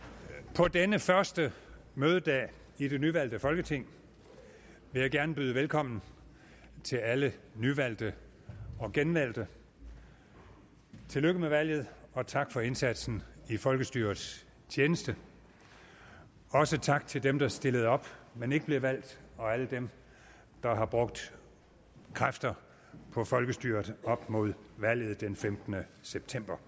på denne første mødedag i det nyvalgte folketing vil jeg gerne byde velkommen til alle nyvalgte og genvalgte tillykke med valget og tak for indsatsen i folkestyrets tjeneste også tak til dem der stillede op men ikke blev valgt og alle dem der har brugt kræfter på folkestyret op mod valget den femtende september